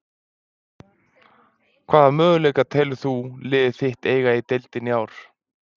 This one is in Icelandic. Hvaða möguleika telur þú liðið þitt eiga í deildinni í ár?